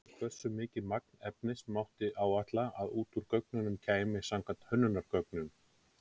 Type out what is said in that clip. Hversu mikið magn efnis mátti áætla að út úr göngunum kæmi samkvæmt hönnunargögnum?